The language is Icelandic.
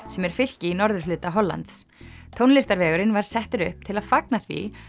sem er fylki í norðurhluta Hollands tónlistarvegurinn var settur upp til að fagna því